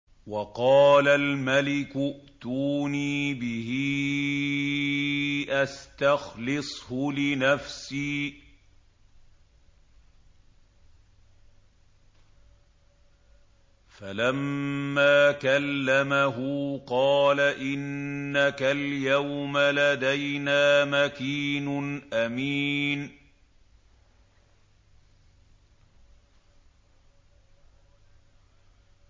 وَقَالَ الْمَلِكُ ائْتُونِي بِهِ أَسْتَخْلِصْهُ لِنَفْسِي ۖ فَلَمَّا كَلَّمَهُ قَالَ إِنَّكَ الْيَوْمَ لَدَيْنَا مَكِينٌ أَمِينٌ